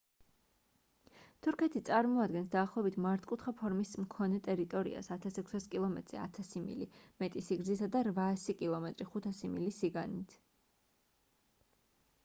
თურქეთის წარმოადგენს დაახლოებით მართკუთხა ფორმის მქონე ტერიტორიას 1,600 კილომეტრზე 1000 მილი მეტი სიგრძითა და 800 კილომეტრი 500 მილი სიგანით